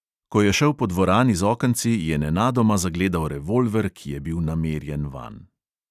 Ko je šel po dvorani z okenci, je nenadoma zagledal revolver, ki je bil namerjen vanj.